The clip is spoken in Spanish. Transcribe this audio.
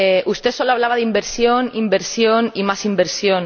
Usted solo hablaba de inversión, inversión y más inversión.